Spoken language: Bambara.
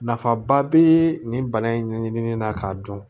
Nafaba bɛ nin bana in ɲɛɲini na k'a dɔn